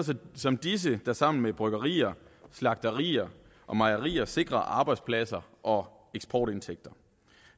som disse der sammen med bryggerier slagterier og mejerier sikrer arbejdspladser og eksportindtægter